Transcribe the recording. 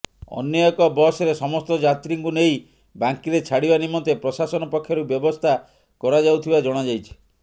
ଅନ୍ୟ ଏକ ବସ୍ରେ ସମସ୍ତ ଯାତ୍ରୀଙ୍କୁ ନେଇ ବାଙ୍କୀରେ ଛାଡ଼ିବା ନିମନ୍ତେ ପ୍ରଶାସନ ପକ୍ଷରୁ ବ୍ୟବସ୍ଥା କରାଯାଉଥିବା ଜଣାଯାଇଛି